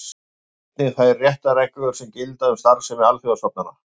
Einnig þær réttarreglur sem gilda um starfsemi alþjóðastofnana.